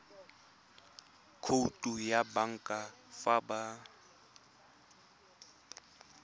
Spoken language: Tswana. khoutu ya banka fa ba